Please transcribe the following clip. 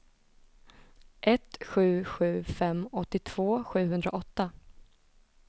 ett sju sju fem åttiotvå sjuhundraåtta